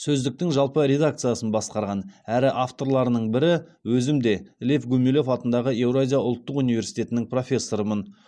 сөздіктің жалпы редакциясын басқарған әрі авторларының бірі өзім де лев гумилев атындағы еуразия ұлттық университетінің профессорымын